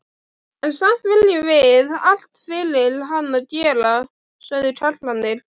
En samt viljum við allt fyrir hana gera, sögðu kallarnir.